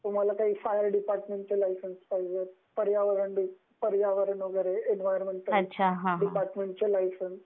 तुम्हाला काही fire department च लायसेंस पाहिजे, पर्यावरण वैगेरे इन्व्हायरोमेंटल, इन्व्हायरोमेंटल चे लायसेंस